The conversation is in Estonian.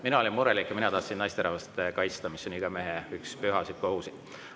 Mina olin murelik ja mina tahtsin naisterahvast kaitsta, mis on iga mehe püha kohustus.